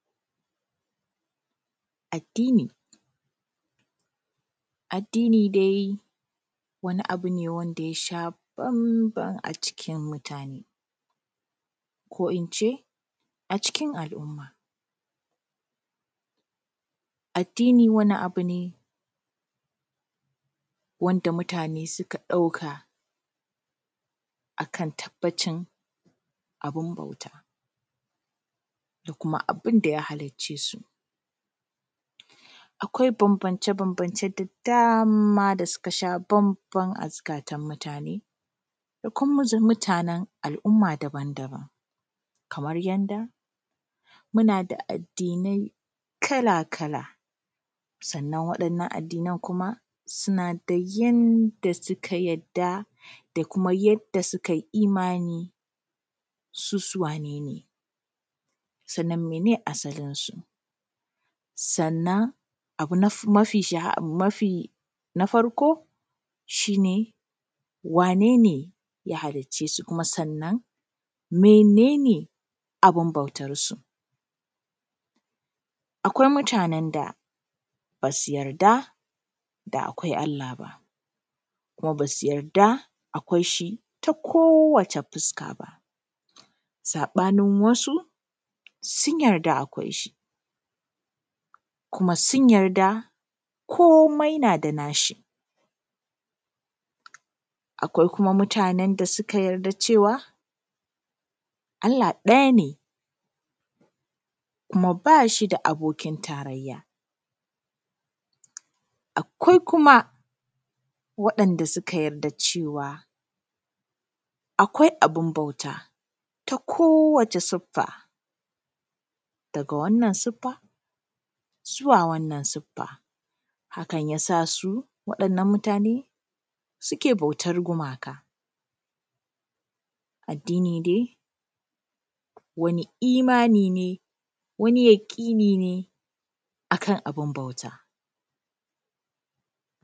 Addini, addini dai wani abu ne wanda yasha bam-ban a cikin mutane, ko ince a cikin al’umma. Addini wani abu ne wanda mutane suka ɗauka akan tabbacin abun bauta, da kuma abinda ya haliccesu. Akwai bambance-bambance da dama da suka sha bamban a zukatan mutane da kuma zam mutane al’umma daban-daban, kamar yanda muna da addinai kala-kala, sannan wa’innan addinai kuma suna da yanda suka yadda da kuma yadda sukai imani su su wane ne? Sannan mene asalinsu? Sannan mafi shahara, na farko shi ne wane ne ya haliccesu? Kuma sannan mene ne abin bautarsu? Akwai mutanen da basu yarda da akwai Allah ba, kuma basu yarda akwai shi ta kowace fuska ba. Saɓanin wasu, sun yarda akwai shi, kuma sun yarda komai nada nashi. Akwai kuma mutanen da suka yarda cewa Allah ɗaya ne, kuma bashi da abokin tarayya. Akwai kuma waɗanda suka yarda cewa, akwai abun bauta ta kowace suffa, daga wannan suffa, zuwa wannan sufa, Hakan yasa suke bautar gumaka. Addini dai wani imani ne, wani yaƙini ne, akan abun bauta.